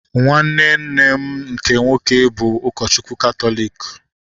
Nwanne nne m nke nwoke bụ ụkọchukwu katọliki